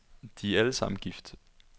De er alle sammen gift.